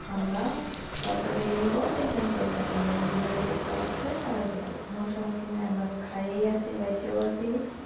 আমরা সরকারকে এই নিয়ে কোনো tension করার দরকার নাই উনি যেভাবে দেশ চালাচ্ছে চালাইতে দাও কোনো সমস্যা নাই আমরা খায়ে আছি বেঁচেও আছি